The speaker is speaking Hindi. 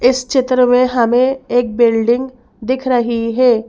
इस चित्र में हमें एक बिल्डिंग दिख रही है।